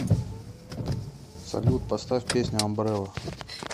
салют поставь песня амбрелла